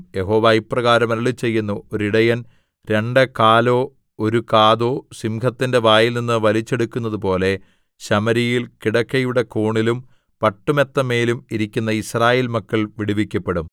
യഹോവ ഇപ്രകാരം അരുളിച്ചെയ്യുന്നു ഒരു ഇടയൻ രണ്ട് കാലോ ഒരു കാതോ സിംഹത്തിന്റെ വായിൽനിന്ന് വലിച്ചെടുക്കുന്നതുപോലെ ശമര്യയിൽ കിടക്കയുടെ കോണിലും പട്ടുമെത്തമേലും ഇരിക്കുന്ന യിസ്രായേൽ മക്കൾ വിടുവിക്കപ്പെടും